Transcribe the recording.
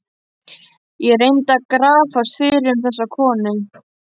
Ég reyndi að grafast fyrir um þessa konu.